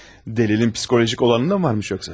Dəlilin psixolojik olanından mı varmış yoxsa?